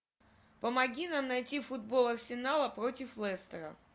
помоги нам найти футбол арсенала против лестера